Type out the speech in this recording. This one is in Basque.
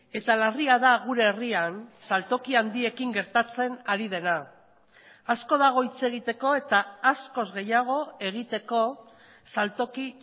eta larria da gure herrian saltoki handiekin gertatzen ari dena asko dago hitz egiteko eta askoz gehiago egiteko saltoki